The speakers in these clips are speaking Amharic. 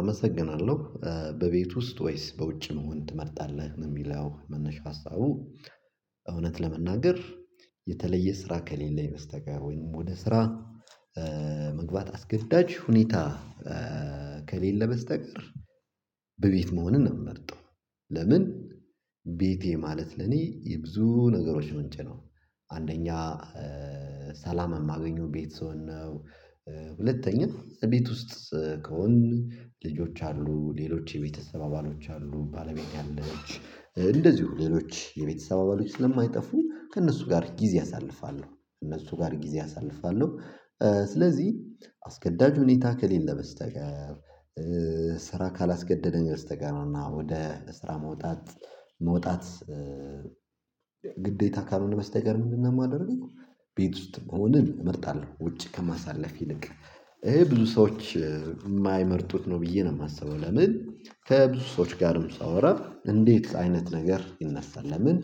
አመሰግናለሁ በቤት ውስጥ ወይስ በውጭ መሆን ትመርጣለህ የሚለው መነሻ ሀሳቡ። እውነት ለመናገር የተለየ ስራ ከሌለኝ በስተቀር ወይንም ወደ ስራ መግባት አስገዳጅ ሁኔታ። ከሌለ በስተቀር በቤት መሆንን ምመርጠው። ለምን ቤቴ ማለት ለኔ የብዙ ነገሮች ምንጭ ነው። አንደኛ ሰላም የማገኘው ቤት ስሆን ነው። ሁለተኛ ቤት ውስጥ ከሆን ልጆች አሉ ሌሎች የቤተሰብ አባሎች አሉ ባለቤት አለች እንደዚሁ ሌሎች የቤተሰብ አባሎች ስለማይጠፉ ከእነሱ ጋር ጊዜ አሳልፋለሁ እነሱ ጋር ጊዜ አሳልፋለሁ። ስለዚህ አስገዳጅ ሁኔታ ከሌለ በስተቀር ስራ ካላስገደደኝ በስተቀር እና ወደ ስራ መውጣት መውጣት ግዴታ ካልሆነ በስተቀር ምንድነው የማደርገው? ቤት ውስጥ መሆንን እመጣለሁ ውጪ ከማሳለፍ ይልቅ ይሄ ብዙ ሰዎች የማይመርጡት ነው ብዬ ነው የማስበው። ለምን ከብዙ ሰዎች ጋርም ሳወራ እንዴት አይነት ነገር ይነሳል ለምን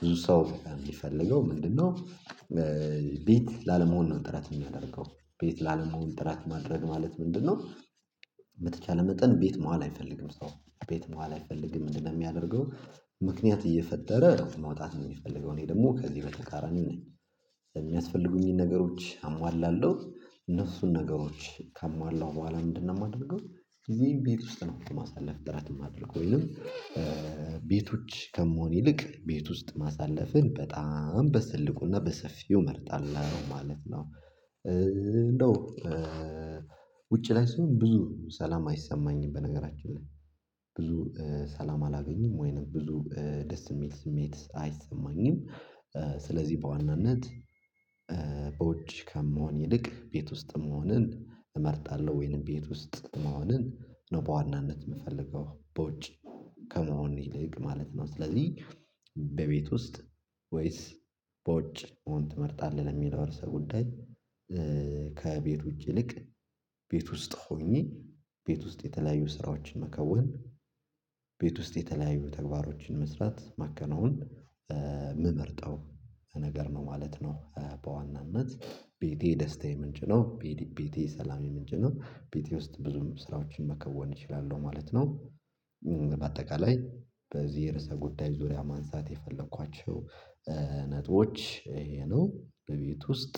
ብዙ ሰው የሚፈልገው ምንድነው? ቤት ላለመሆን ነው ጥረት የሚያደርገው ቤት ላለመሆን ጥረት ማድረግ ማለት ምንድነው? በተቻለው መጠን ቤት መዋል አይፈልግም ሰው ቤት መዋል አይፈልግም ምንድነው የሚያደርገው ምክንያት እየፈጠረ መውጣት ነው የሚፈልገው እኔ ደግሞ ከዚህ በተቃራ ነኝ። የሚያስፈልጉኝን ነገሮች አሟላለሁ እነሱን ነገሮች ካሟላሁ በኋላ ምንድነው የማደርገው ጊዜየን ቤት ውስጥ ነው የማሳለፍ ጥራት የማደርገው ወይንም። ቤቶች ከመሆን ይልቅ ቤት ውስጥ ማሳለፍን በጣም በትልቁና በሰፊው እመርጣለሁ ማለት ነው። እንደው ውጪ ላይ ስሆን ብዙ ሰላም አይሰማኝም በነገራችን ላይ ብዙ ሰላም አላገኝም ወይንም ብዙ ደስ የሚል ስሜት አይሰማኝም። ስለዚህ በዋናነት በውጭ ከምሆን ይልቅ ቤት ውስጥም መሆንን እመርጣለሁ ወይንም ቤት ውስጥ መሆንን ነው በዋናነት የምፈልገው በውጭ ከመሆን ይልቅ ማለት ነው። ስለዚህ በቤት ውስጥ ወይስ በውጭ እውን ትመርጣለህ የሚለው እርስ ጉዳይ። ከቤቶች ይልቅ ቤት ውስጥ ሆኜ ቤት ውስጥ የተለያዩ ስራዎችን መከወን። ቤት ውስጥ የተለያዩ ተግባሮችን መስራት ማከናወን የምመርጠው ነገር ነው ማለት ነው። በዋናነት ቤቴ ደስታዬ ምንጭ ነው ቤቴ ሰላሜ ምንጭ ነው ቤቴ ውስጥ ብዙም ስራዎችን መከወን እችላለሁ ማለት ነው። በአጠቃላይ በዚህ የርዕሰ ጉዳይ ዙሪያ ማንሳት የፈለኳቸው ነጥቦች ይሄ ነው። ቤት ውስጥ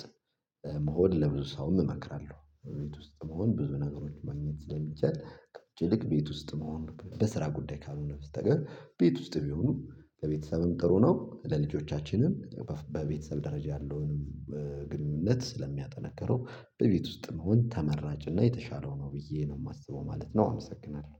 መሆን ለብዙ ሰው እመክራለሁ ቤት ውስጥ መሆን ብዙ ነገሮች ማግኘት ስለሚቻል ከውጭ ይልቅ ቤት ውስጥ መሆን በስራ ጉዳይ ካልሆነ በስተቀር ቤት ውስጥ ቢሆኑ ከቤተሰብም ጥሩ ነው ለልጆቻችንም በቤተሰብ ደረጃ ያለውን በግንኙነት ስለሚያጠነክረው በቤት ውስጥ መሆን ተመራጭ እና የተሻለው ነው ብዬ ነው የማስበው ማለት ነው። አመሰግናለሁ